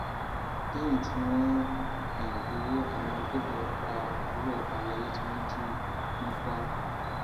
lẹyìn tí wọn um gbowó àwọn agbébọn pa àbúrò ọba alayé tí wọn jí gbé ní um kwara